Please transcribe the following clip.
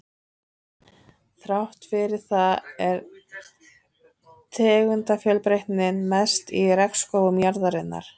Þrátt fyrir það er tegundafjölbreytnin mest í regnskógum jarðarinnar.